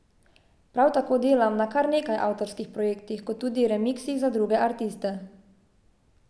Prav tako delam na kar nekaj avtorskih projektih kot tudi remiksih za druge artiste.